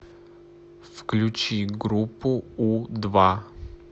включи группу у два